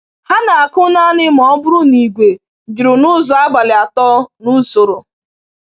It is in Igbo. Ha na-akụ naanị ma ọ bụrụ na igwe juru n’ụzọ abalị atọ n’usoro.